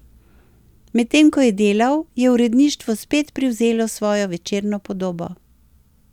Medtem ko je delal, je uredništvo spet privzelo svojo večerno podobo.